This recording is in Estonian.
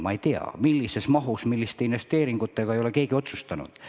Ma küll ei tea, millises mahus, milliste investeeringutega, seda ei ole keegi otsustanud.